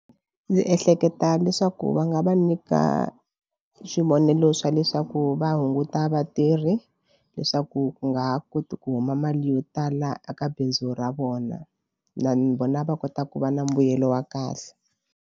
Ndzi ehleketa leswaku va nga va nyika swivonelo swa leswaku va hunguta vatirhi leswaku ku nga ha koti ku kuma mali yo tala eka bindzu ra vona na ni vona va kota ku va na mbuyelo wa kahle.